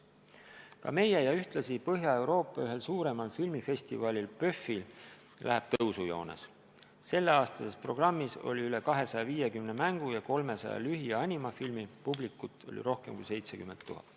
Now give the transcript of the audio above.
Ka meie ja ühtlasi Põhja-Euroopa suurimaid filmifestivale PÖFF areneb tõusujoones: selleaastases programmis oli üle 250 mängu- ja 300 lühi- ja animafilmi, publikut rohkem kui 70 000.